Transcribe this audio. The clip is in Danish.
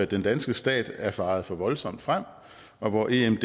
den danske stat er faret for voldsomt frem og hvor emd